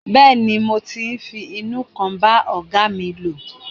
Bẹ́ẹ̀ni, mo ti ń fi inú kan bá ọ̀gáa mi lò.